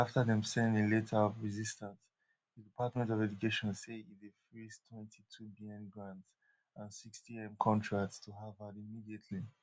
shortly afta dem send im letter of resistance di department of education say e dey freez twenty-twobn grants and sixtym contracts to harvard immediately